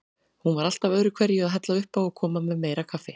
Hún var alltaf öðruhverju að hella uppá og koma með meira kaffi.